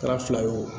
Kɛra fila fila ye o